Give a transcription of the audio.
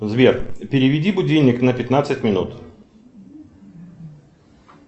сбер переведи будильник на пятнадцать минут